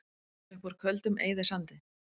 Upp úr Köldum eyðisandi